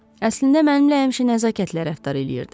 Əslində mənimlə həmişə nəzakətlə rəftar eləyirdi.